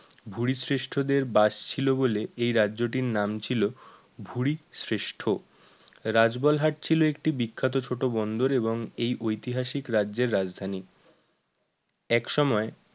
ভুরি শ্রেষ্ঠদের বাস ছিল বলে এই রাজ্যটির নাম ছিল ভুরীশ্রেষ্ঠ, রাজবালহাট ছিল একটি বিখ্যাত ছোট বন্দর এবং এই ঐতিহাসিক রাজ্যের রাজধানী একসময়